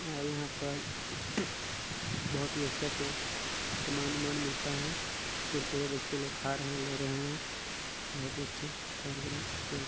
--और यहाँ पर बहुत ही अच्छा से समान उमान मिलता है कुरकुरे बच्चे लोग खा रहे है ले रहे है बहुत ही अच्छा कार्यक्रम--